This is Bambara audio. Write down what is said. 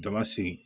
Jama segin